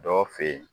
Dɔw fe yen